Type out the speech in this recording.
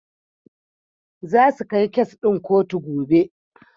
Zasu kai kes ɗin kotu gobe.